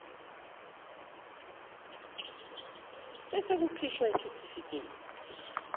ebese kukhishwa isitifikedi